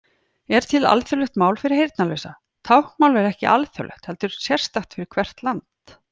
Er til alþjóðlegt mál fyrir heyrnarlausa?: Táknmál er ekki alþjóðlegt heldur sérstakt fyrir hvert land.